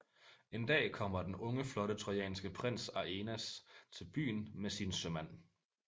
En dag kommer den unge flotte trojanske prins Aeneas til byen med sine sømand